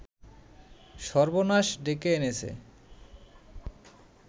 সর্বনাশ ডেকে এনেছে